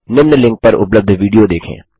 निम्न लिंक पर उपलब्ध विडियो देखें